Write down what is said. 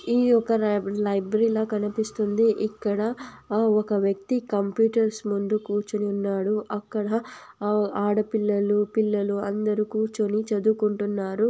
ఈ ఒక లై-లైబ్రరిలా కనిపిస్తుంది ఇక్కడ ఒక వ్యక్తి కంప్యూటర్స్ ముందు కుర్చోని ఉన్నాడు అక్కడ ఆడపిల్లలు పిల్లలు అందరు కుర్చోని చదువుకుంటున్నారు.